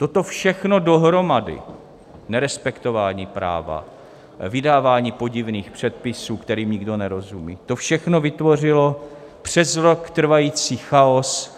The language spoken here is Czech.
Toto všechno dohromady - nerespektování práva, vydávání podivných předpisů, kterým nikdo nerozumí - to všechno vytvořilo přes rok trvající chaos.